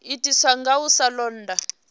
itiswa nga u sa londa